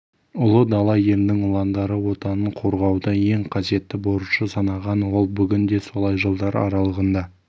ұлы дала елінің ұландары отанын қорғауды ең қасиетті борышы санаған ол бүгін де солай жылдар аралығында